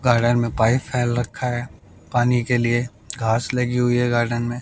Garden में pipe फैल रखा है पानी के लिए घास लगी हुई है गार्डन में।